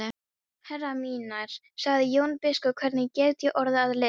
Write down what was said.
Herrar mínir, sagði Jón biskup,-hvernig get ég orðið að liði?